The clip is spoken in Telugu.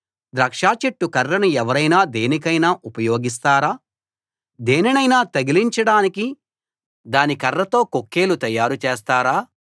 ద్రాక్ష చెట్టు కర్రను ఎవరైనా దేనికైనా ఉపయోగిస్తారా దేనినైనా తగిలించడానికి దాని కర్రతో కొక్కేలు తయారు చేస్తారా